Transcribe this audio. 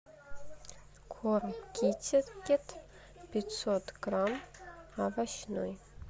корм китикет пятьсот грамм овощной